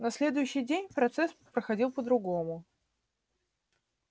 на следующий день процесс проходил по-другому